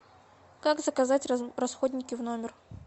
как заказать расходники в номер